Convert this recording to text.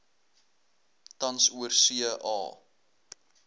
tans oorsee a